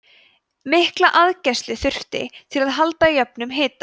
mikla aðgæslu þurfti til að halda jöfnum hita